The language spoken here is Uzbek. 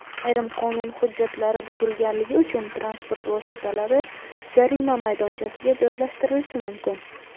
Ayrim qonun hujjatlari buzilganligi uchun transport vositalari jarima maydonchasiga joylashtirilishi mumkin.